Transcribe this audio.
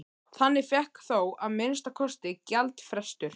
Þannig fékkst þó að minnsta kosti gjaldfrestur.